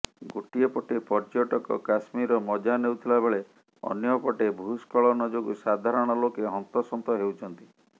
ଗୋଟିଏ ପଟେ ପର୍ଯ୍ୟଟକ କଶ୍ମୀରର ମଜା ନେଉଥିଲା ବେଳେ ଅନ୍ୟପଟେ ଭୁସ୍ଖଳନ ଯୋଗୁଁ ସାଧାରଣ ଲୋକେ ହନ୍ତସନ୍ତ ହେଉଛନ୍ତି